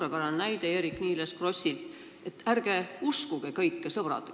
Eerik-Niiles Kross tõi siin suurepärase näite, et ärge uskuge kõike, sõbrad.